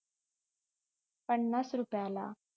पन्नास रुपयाला